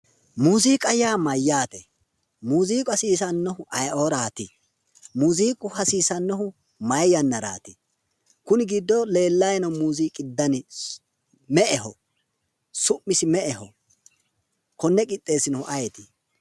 Muuziiqa yaa mayyaate? muuziiqu hasiisannohu ayeeooraati? muuziiqu hasiisannohu mayi yannaraati? kuni giddo leellayi noo dani me'eho? su'misi me'eho? konne qixxeessinohu ayeeti?